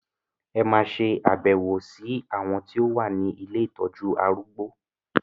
En ma ṣe àbẹ̀wò sí àwọn ti ilé ìtọjú arúgbó.